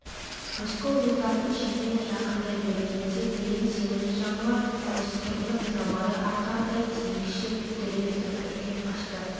рысқұл отардың шетіне жақындай бергенде кілең семіз жануар осқырынып жабайы арқардай тікшиіп дүр етіп үрке қашты